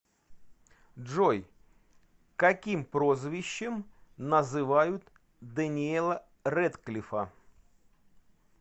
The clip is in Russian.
джой каким прозвищем называют дэниела рэдклифа